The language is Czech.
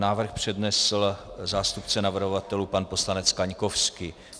Návrh přednesl zástupce navrhovatelů pan poslanec Kaňkovský.